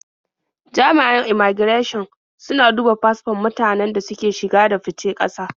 Jami'an immaigirashin suna duba fasfon mutanen da suke shige da fice ƙasa.